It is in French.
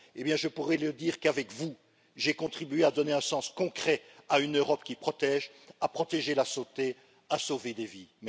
Eh bien, je pourrai leur dire qu'avec vous, j'ai contribué à donner un sens concret à une Europe qui protège, qui protège la santé et qui sauve des vies.